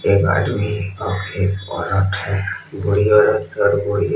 एक आदमी और एक औरत है बूढ़ी औरत और बूढ़ी--